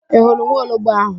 Ị hụrụ nwaologbo áhụ̀?